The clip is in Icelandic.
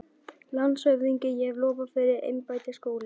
LANDSHÖFÐINGI: Ég hef lofað yður embætti, Skúli.